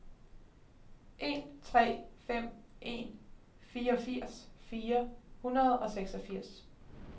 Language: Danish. en tre fem en fireogfirs fire hundrede og seksogfirs